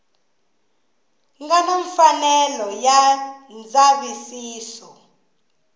nga na mfanelo ya ndzavisiso